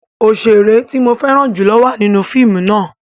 Oṣere ti mo fẹran julo wa ninu fiimu náa